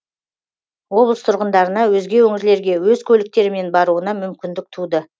облыс тұрғындарына өзге өңірлерге өз көліктерімен баруына мүмкіндік туды